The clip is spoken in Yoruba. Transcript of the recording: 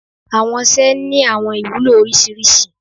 awọn ọṣẹ ni awọn ìwulo oriṣiriṣi